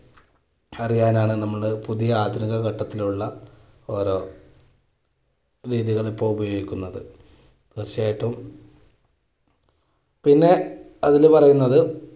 അറിയാനാണ് നമ്മള് പുതിയ ആധുനിക ഘട്ടത്തിലുള്ള ഓരോ രീതികളും ഒക്കെയും ഉപയോഗിക്കുന്നത് പക്ഷേ ഏറ്റവും പിന്നെ അതിൽ പറയുന്നത്